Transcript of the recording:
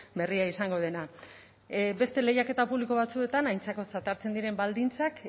berria izango dena beste lehiaketa publiko batzuetan aintzakotzat hartzen diren baldintzak